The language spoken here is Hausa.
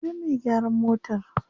Ya sunan me gyaran motar?